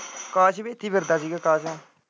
ਕਾਸ਼ ਵੀ ਇੱਥੇ ਹੀ ਫਿਰਦਾ ਸੀ ਗਾ ਅਕਾਸ਼ ਨਾਲ।